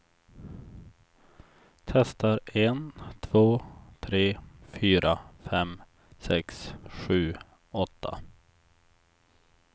Testar en två tre fyra fem sex sju åtta.